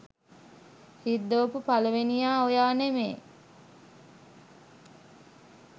රිද්දෝපු පළවෙනියා ඔයා නෙමේ.